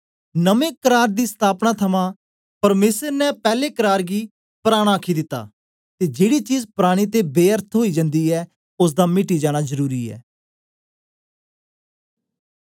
नमें करार दी स्तापना थमां परमेसर ने पैले करार गी परान आखी दिता ते जेड़ी चीज परानी ते बेअर्थ ओई जन्दी ऐ ओसदा मिटी जाना जरुरी ऐ